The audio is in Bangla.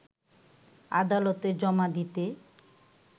আদালতে জমা দিতে